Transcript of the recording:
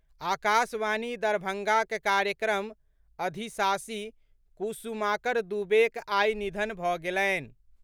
आकाशवाणी दरभंगाक कार्यक्रम अधिशासी कुसुमाकर दुबेक आई निधन भऽ गेलनि।